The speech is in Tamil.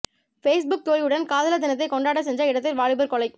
ஃபேஸ்புக் தோழியுடன் காதலர் தினத்தை கொண்டாட சென்ற இடத்தில் வாலிபர் கொலை